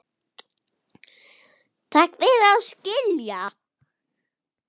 Takk fyrir að skilja.